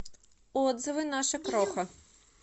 отзывы наша кроха